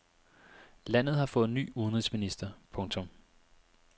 Landet har fået ny udenrigsminister. punktum